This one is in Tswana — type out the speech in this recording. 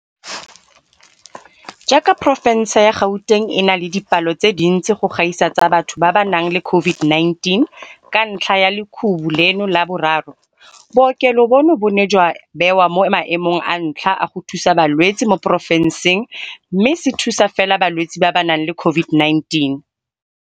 Jaaka porofense ya Gauteng e na le dipalo tse dintsi go gaisa tsa batho ba ba nang le COVID-19 ka ntlha ya lekhubu leno la boraro, bookelo bono bo ne jwa bewa mo maemong a ntlha a go thusa balwetse mo porofenseng mme se thusa fela balwetse ba ba nang le COVID-19.